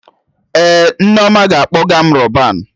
Ee, Nneoma ga-akpọga m Rọban